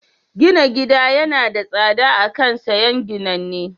Gina gida yana da tsada a kan siyan ginanne.